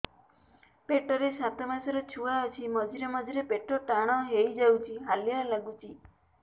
ପେଟ ରେ ସାତମାସର ଛୁଆ ଅଛି ମଝିରେ ମଝିରେ ପେଟ ଟାଣ ହେଇଯାଉଚି ହାଲିଆ ଲାଗୁଚି